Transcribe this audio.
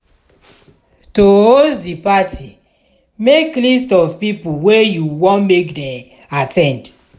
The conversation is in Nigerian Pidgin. to host di parti make list of pipo wey you won make dem at ten d